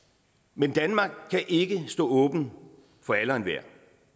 men danmark kan ikke stå åbent for alle og enhver